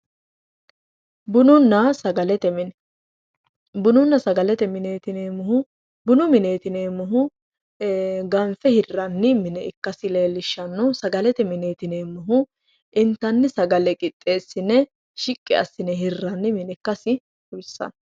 Bununna sagalete mine, bununna sagalete mineti yineemmohu ,bunu mineti yineemmohu ee ganfe hiranni mine ikkasi leellishano sagalete mineti yineemmohu intanni sagale qixxeesine shiqqi assine hiranni mine ikkasi xawisanno.